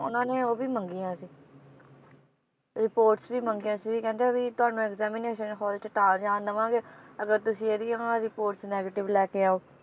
ਉਨਾਂ ਨੇ ਉਹ ਵੀ ਮੰਗੀਆਂ ਸੀ reports ਵੀ ਮੰਗੀਆਂ ਸੀ ਵੀ ਕਹਿੰਦੇ ਵੀ ਤੁਹਾਨੂੰ examination hall ਚ ਤਾਂ ਜਾਣ ਦਵਾਂਗੇ ਅਗਰ ਤੁਸੀਂ ਇਹਦੀਆਂ reports negative ਲੈਕੇ ਆਓ